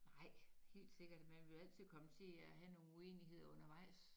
Nej helt sikkert man vil da altid komme til at have nogle uenigheder undevejs